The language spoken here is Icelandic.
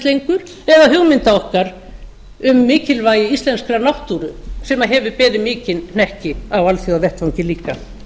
lengur eða hugmynda okkar um mikilvægi íslenskrar náttúru sem hefur beðið mikinn hnekki á alþjóðavettvangi líka